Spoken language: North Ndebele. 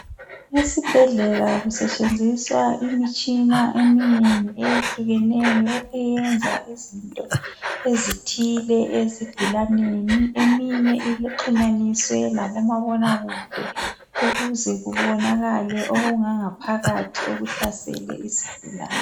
Esibhedlela kusetshenziswa imitshina eminengi eyehlukeneyo eyenza izinto ezithile ezigulaneni. Eminye uxhunyaniswe labomabona kude ukuze kubonakala ukungangaphakathi okuhlasele esigulane.